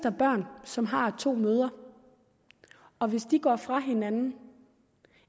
børn som har to mødre og hvis de går fra hinanden